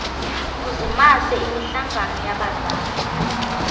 uzimase imihlangano yabazali